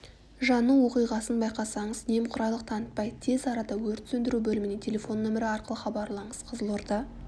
жану оқиғасын байқасаңыз немқұрайлық танытпай тез арада өрт сөндіру бөліміне телефон нөмірі арқылы хабарлаңыз қызылорда